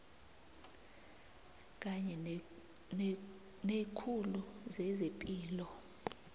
kanye neekhulu zezepilo